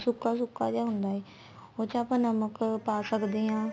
ਹਾਂ ਸੁੱਕਾ ਸੁੱਕਾ ਜਾ ਹੁੰਦਾ ਏ ਉਸ ਚ ਆਪਾਂ ਨਮਕ ਪਾ ਸਕਦੇ ਆ